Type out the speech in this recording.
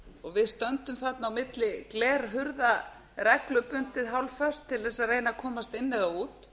og við stöndum þarna á milli glerhurða reglubundið hálfföst til að reyna að komast inn eða út